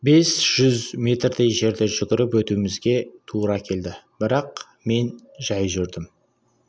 бес жүз метрдей жерді жүгіріп өтуімізге тура келді бірақ мен жай жүрдім